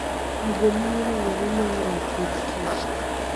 Gigo miyo rowere mohero pur tich.